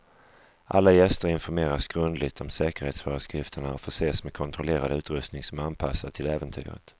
Alla gäster informeras grundligt om säkerhetsföreskrifterna och förses med kontrollerad utrustning som är anpassad till äventyret.